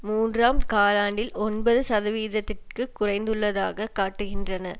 மூன்றாம் காலாண்டில் ஒன்பது சதவீதத்திற்கு குறைந்துள்ளதாக காட்டுகின்றன